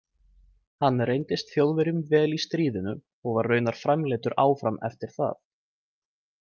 Hann reyndist Þjóðverjum vel í stríðinu og var raunar framleiddur áfram eftir það.